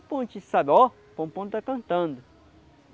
pom. A gente sabe, ó, o pom-pom está cantando.